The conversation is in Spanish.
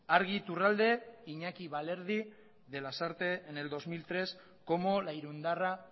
argi iturralde iñaki balerdi de lasarte en el dos mil tres como la irundarra